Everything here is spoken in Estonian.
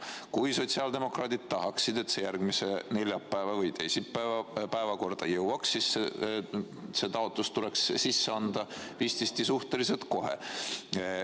Kui sotsiaaldemokraadid tahaksid, et see järgmise neljapäeva või teisipäeva päevakorda jõuaks, siis see taotlus tuleks sisse anda vististi suhteliselt kohe.